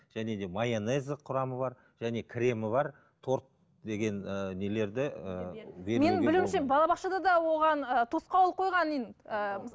және де майонез құрамы бар және кремі бар торт деген ііі нелерді ііі менің білуімше балабақшада да оған тосқауыл қойған ыыы